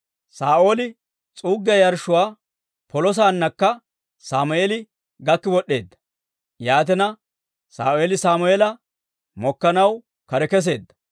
Saa'ooli s'uuggiyaa yarshshuwaa polo saannakka Sammeeli gakki wod'd'eedda. Yaatina, Saa'ooli Sammeela mokkanaw kare kesseedda.